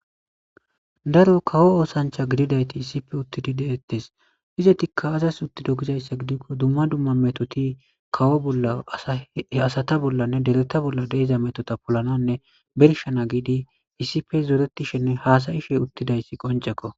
daro kawo oosancha gididayti issipe uttidi deettes.izetikka azas uttido gizayssa gidikko dumma dumma metoti kawo oa asata bollanne dereta bolla de'iza metota polananne berishana giidi issipe zoretishenne haasayishe uttidayssi qoncekko.